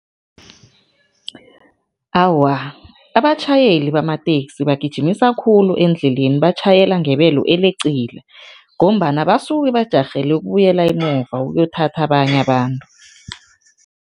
Awa, abatjhayeli bamateksi bagijimisa khulu endleleni, batjhayela ngebelo eleqile ngombana basuke bajarhele ukubuyela emuva, ukuyothatha abanye abantu.